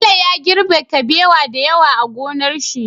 Bello ya girbe kabewa da yawa a gonar shi